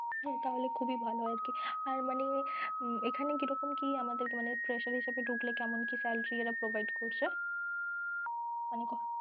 হম তাহলে খুবই ভালো হয় আরকি আর মানে এখানে কিরকম কি, মানে fresher হিসেবে ঢুকলে কেমন কি salary এরা provide করছে? মানে